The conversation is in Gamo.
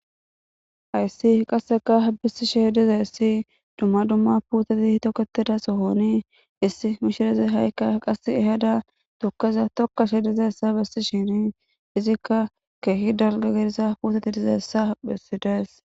Haysi qasekka dumma dumma dumma putterti tokettida sohon issi mishiriya haikka qase ehada tukeza tokashe dizayssa besishin izzikka keehi dalgga gidida putetta besides